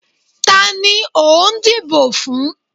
Ta ni o n dibò fún?